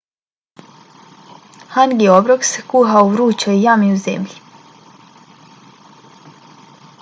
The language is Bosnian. hangi obrok se kuha u vrućoj jami u zemlji